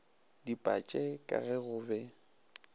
dipatše ka ge go be